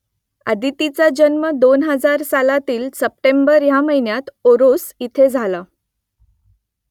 अदितीचा जन्म दोन हजार सालातील सप्टेंबर ह्या महिन्यात ओरोस इथे झाला